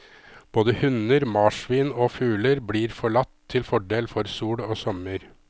Både hunder, marsvin og fugler blir forlatt til fordel for sol og sommer.